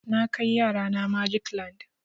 Na kai yara na magic land.